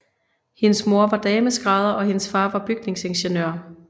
Hendes mor var dameskrædder og hendes far var bygningsingeniør